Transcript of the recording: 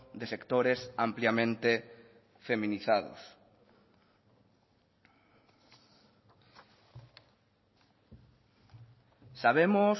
de sectores ampliamente feminizados sabemos